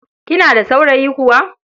Kina da saurayi kuwa?